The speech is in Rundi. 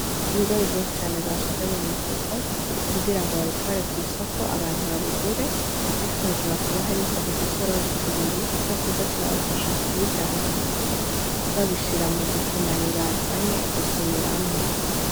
Ibigori vyinshi cane bashinze mu mufuko kugira babitware kw'isoko abantu babigure ariko hejuru hakaba hariho udusorori tubiri two kuza turabafasha kubidaha mu mufuko babishira mu dukemanyi bazanye gusumiramwo.